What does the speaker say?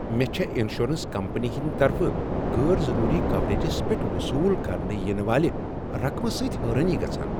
مےٚ چھےٚ insurance company ہنٛدۍ طرفہٕ غٲر ضروری کوریجس پیٹھ وصول کرنہٕ ینہٕ والہِ رقمہٕ سۭتۍ حٲرٲنی گژھان۔